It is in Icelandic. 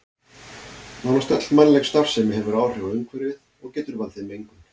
Nánast öll mannleg starfsemi hefur áhrif á umhverfið og getur valdið mengun.